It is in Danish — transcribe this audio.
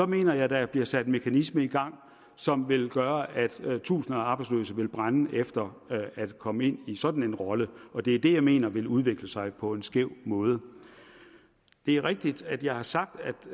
mener jeg at der bliver sat en mekanisme i gang som vil gøre at tusinder af arbejdsløse vil brænde efter at komme ind i en sådan rolle og det er det jeg mener vil udvikle sig på en skæv måde det er rigtigt at jeg har sagt